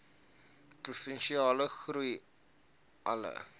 provinsiale groei alle